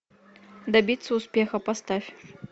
добиться успеха поставь